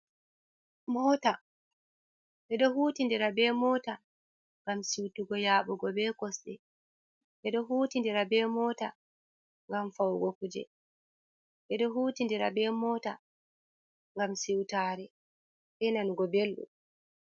Mota, ɓe ɗo hutindira be mota ngam siwtugo yaɓugo be kosɗe. Ɓe ɗo hutindira be mota, ngam fawugo kuje. Ɓe ɗo hutindira be mota, ngam siwtare, be nanugo belɗum.